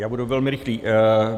Já budu velmi rychlý.